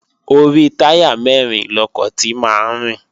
Orí táyà mẹ́rin lọkọ̀ ti máa ń rìn